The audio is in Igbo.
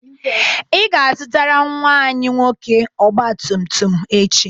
Ị ga-azụtara nnwa anyị nwoke ọgba tum tum echi.